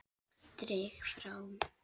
Dreg frá.